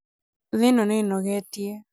thĩ ĩno nĩĩnogetie